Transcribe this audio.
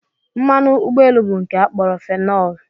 Mmanụ ụgbọelu bụ nke a kpọrọ fenọl